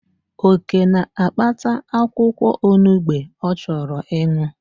Oke na-akpata akwụkwọ onugbe ọ chọrọ ịṅụ